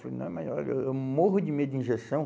Falei, não, mas olha, eu eu morro de medo de injeção.